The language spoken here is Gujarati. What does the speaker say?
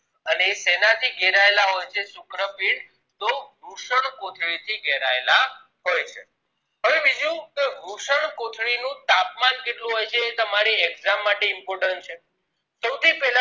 અને એ શેના થી ઘેરાયેલી હોય છે શુક્રપીંડ તો વૃષણકોથળી થી ઘેરાયેલા હોય છે હવે બીજું વૃષણકોથળીનું તાપમાન હોય છે એ તમારી exam માટે important છે સોથી પેલા